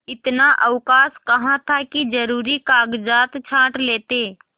इतना अवकाश कहाँ था कि जरुरी कागजात छॉँट लेते